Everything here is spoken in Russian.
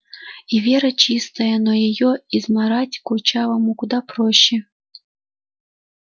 и вера чистая но её измарать курчавому куда проще